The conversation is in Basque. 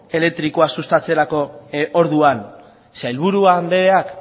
elektrikoa sustatzerako orduan sailburu andreak